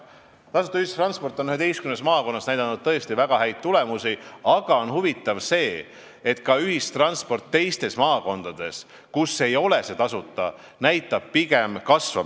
Tasuta ühistransport on 11 maakonnas näidanud tõesti väga häid tulemusi, aga huvitav on, et ühistranspordi kasutamine ka maakondades, kus see ei ole tasuta, näitab pigem kasvu.